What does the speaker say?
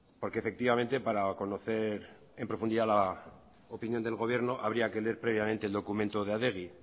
porque efectivamente para conocer en profundidad la opinión del gobierno habría que leer previamente el documento de adegi